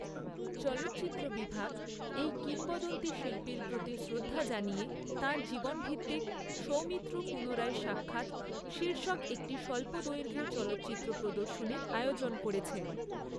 চলচ্চিত্র বিভাগ এই কিংবদন্তী শিল্পীর প্রতি শ্রদ্ধা জানিয়ে তাঁর জীবন ভিত্তিক 'সৌমিত্র পুনরায় সাক্ষাৎ' শীর্ষক একটি স্বল্প দৈঘ্যের চলচ্চিত্র প্রদর্শনীর আয়োজন করেছে।